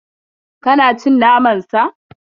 Ka na cin naman Sa?